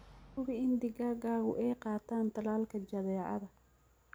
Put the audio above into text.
Hubi in digaagadu ay qaataan tallaalka jadeecada.